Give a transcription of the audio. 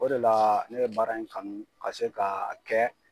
O de la ne ye baara in kanu ka se ka kɛ